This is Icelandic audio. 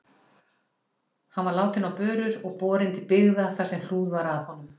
Hann var látinn á börur og borinn til byggða þar sem hlúð var að honum.